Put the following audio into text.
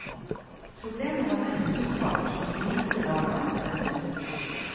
Problemet var mest uttalt hos de minste barna. punktum